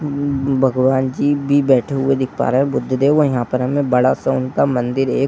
हम्म भगवान जी भी बेठे हुए दिख पा रहें हैं बुद्ध देव व यहाँ पर हमें बड़ा सा उनका मंदिर एक --